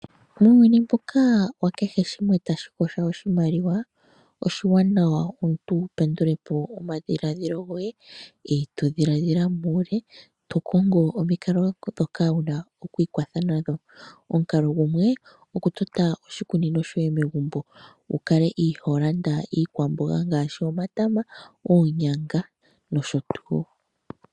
Muuyuni mbuka wa kehe shimwe shoka tashi kosho oshimaliwa, oshiwanawa omuntu wu pendule po omadhiladhilo goye. To dhiladhila muule, to kongo omikalo ndhoka wuna oku ikwatha nadho. Omukalo gumwe, oku tota oshikunino shoye megumbo. Wu kale iihonda iikwamboga nggashi: omatoma, oonyanga nosho tuu.